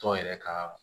Tɔ yɛrɛ ka